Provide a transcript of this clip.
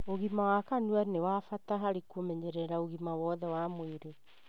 ũgima wa kanua nĩ wa bata harĩ kũmenyerera ũgima wothe wa mwĩrĩ.